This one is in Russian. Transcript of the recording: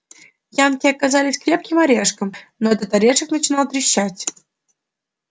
янки оказались крепким орешком но этот орешек начинал трещать